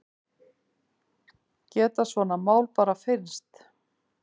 Geta svona mál bara fyrnst?